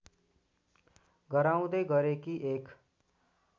गराउँदै गरेकी एक